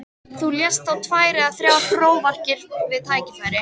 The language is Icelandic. Þú lest þá tvær eða þrjár prófarkir við tækifæri.